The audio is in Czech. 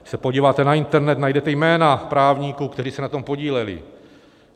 Když se podíváte na internet, najdete jména právníků, kteří se na tom podíleli.